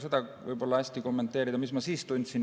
Ma ei oska seda hästi kommenteerida, mida ma siis tundsin.